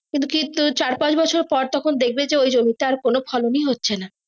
কিন্তু চার পাঁচ বছরে পর তখন দেখবে যে ইও জমিতে আর কোনো ফলন ই হচ্ছে না।